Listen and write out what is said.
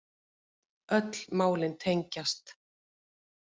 Öll málin tengjast